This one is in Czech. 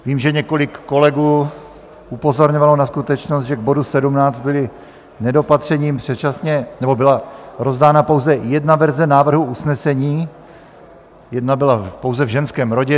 Vím, že několik kolegů upozorňovalo na skutečnost, že k bodu 17 byla rozdána pouze jedna verze návrhu usnesení, jedna byla pouze v ženském rodě.